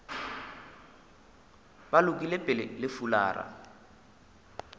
ba lokile pele le fulara